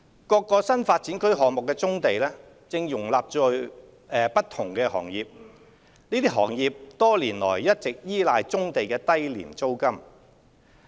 各個新發展區項目的棕地正容納不同行業，這些行業多年來一直依賴棕地的低廉租金。